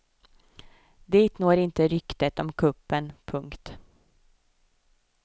Dit når inte ryktet om kuppen. punkt